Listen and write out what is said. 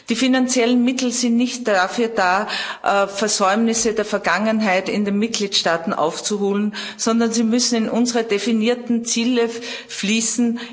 Die finanziellen Mittel sind nicht dafür da, Versäumnisse der Vergangenheit in den Mitgliedstaaten aufzuholen, sondern sie müssen in unsere definierten Ziele fließen.